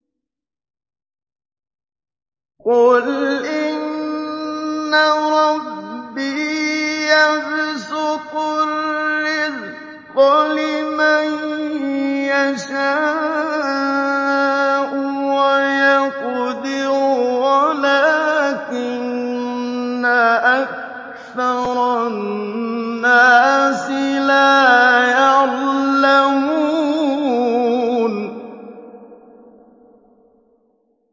قُلْ إِنَّ رَبِّي يَبْسُطُ الرِّزْقَ لِمَن يَشَاءُ وَيَقْدِرُ وَلَٰكِنَّ أَكْثَرَ النَّاسِ لَا يَعْلَمُونَ